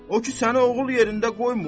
O ki səni oğul yerində qoymur?